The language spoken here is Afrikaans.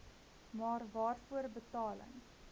maar waarvoor betaling